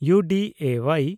U ᱰᱤ ᱮ ᱳᱣᱟᱭ